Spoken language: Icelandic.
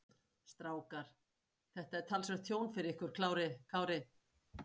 Strákar, þetta er talsvert tjón fyrir ykkur Kári?